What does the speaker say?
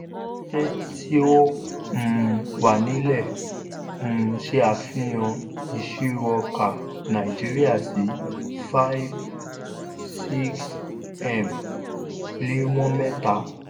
tí ó um wà nílẹ̀ um ṣe àfihàn ìṣirò ọkà náìjíríà sí five six m líwọn mẹ́ta.